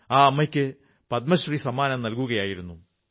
ആ അമ്മയ്ക്ക് പദ്മശ്രീ സമ്മാനം നല്കുകയായിരുന്നു